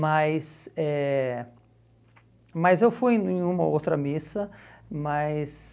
Mas eh mas eu fui em uma outra missa, mas...